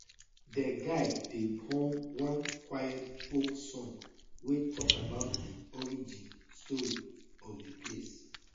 de guide dey hum one quiet folk song wey talk about di origin story of di place